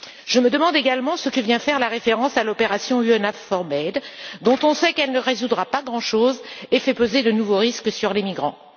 Je me demande également ce que vient faire la référence à l'opération EUNAVFOR Med, dont on sait qu'elle ne résoudra pas grand chose et qui fait peser de nouveaux risques sur les migrants.